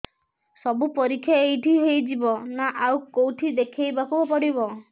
ସବୁ ପରୀକ୍ଷା ଏଇଠି ହେଇଯିବ ନା ଆଉ କଉଠି ଦେଖେଇ ବାକୁ ପଡ଼ିବ